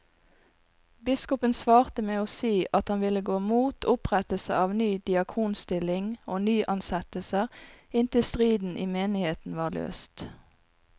Biskopen svarte med å si at han ville gå mot opprettelse av ny diakonstilling og nyansettelser inntil striden i menigheten var løst.